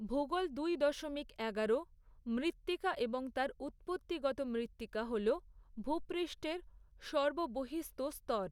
ভূগোল দুই দশমিক এগারো, মৃত্তিকা এবং তার উৎপত্তিগত মৃত্তিকা হল ভূপৃষ্ঠের সর্ববহিঃস্থ স্তর।